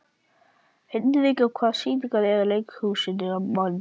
Hinrika, hvaða sýningar eru í leikhúsinu á mánudaginn?